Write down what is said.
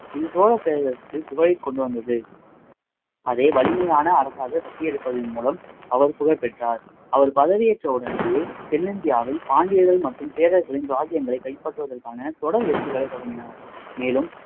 இது சோழப்பேரரசுக்கு புகழை கொண்டு வந்தது அதே வலிமையான அரசாக கட்டியெழுப்பதின் மூலம் அவர் புகழ் பெற்றார் அவர் பதவி ஏற்ற உடனேயே தென்னிந்தியாவில் பாண்டியர்கள் மற்றும் சேரர்களின் ராஜ்ஜியங்களை கைப்பற்றுவதற்கான தொடர் வெற்றிகளை தொடங்கினார்